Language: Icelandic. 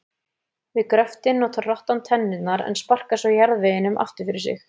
Við gröftinn notar rottan tennurnar en sparkar svo jarðveginum aftur fyrir sig.